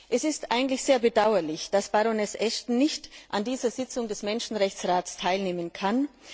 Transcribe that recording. Es ist eigentlich sehr bedauerlich, dass Baroness Ashton nicht an dieser Sitzung des Menschenrechtsrats teilnehmen kann.